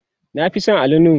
na Fi San Ali nuhu